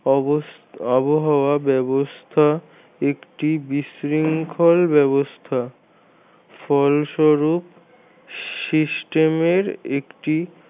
আবহাওয়া ব্যবস্থা একটি বিশৃঙ্খল ব্যবস্থা ফলস্বরুপ system এর একটি